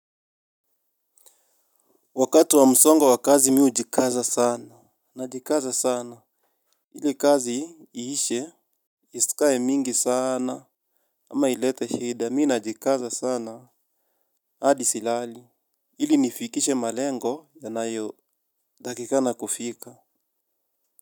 Wakati wa msongo wa kazi mi hujikaza sana. Najikaza sana ili kazi iishe. Isikae mingi sana. Ama ilete shida mi najikaza sana hadi silali ili nifikishe malengo yanayotakikana kufika.